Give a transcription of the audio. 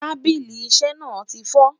tábìlì iṣé na tifo